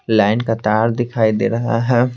Line का तार दिखाई दे रहा है।